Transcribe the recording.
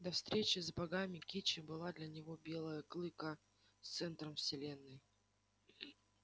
до встречи с богами кичи была для белого клыка центром вселенной